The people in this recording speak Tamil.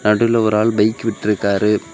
நடுவுல ஒரு ஆள் பைக் விட்ருக்காரு.